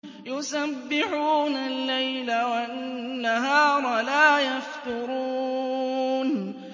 يُسَبِّحُونَ اللَّيْلَ وَالنَّهَارَ لَا يَفْتُرُونَ